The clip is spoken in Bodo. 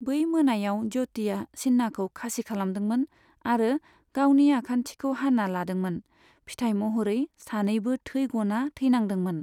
बै मोनायाव, ज्य'तिया चिन्नाखौ खासि खालामदोंमोन आरो गावनि आखान्थिखौ हाना लादोंमोन, फिथाइ महरै सानैबो थैग'ना थैनांदोंमोन।